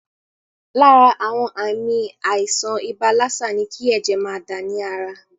Lára àwọn àmì àìsàn ibà lásà ní kí ẹ̀jẹ̀ máa dà ní ara.